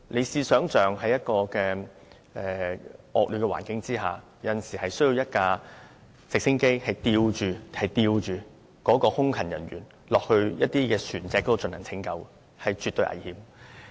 試想象，在惡劣環境下，有時候直升機需要吊着空勤人員到海上拯救船隻，這是絕對危險的工作。